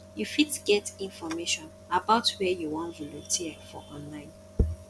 you fit get information about where you wan volunteer for online